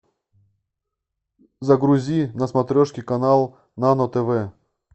загрузи на смотрешке канал нано тв